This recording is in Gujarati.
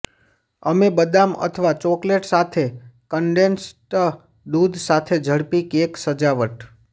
અમે બદામ અથવા ચોકલેટ સાથે કન્ડેન્સ્ડ દૂધ સાથે ઝડપી કેક સજાવટ